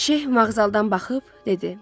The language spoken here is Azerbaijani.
Şeyx mazğaldan baxıb dedi: